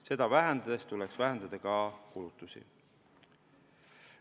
Seda vähendades tuleks vähendada ka kulutusi.